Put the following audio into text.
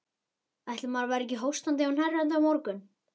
Ætli maður verði ekki hóstandi og hnerrandi á morgun.